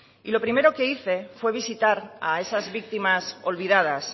y lo primero que hice fue visitar a esas víctimas olvidadas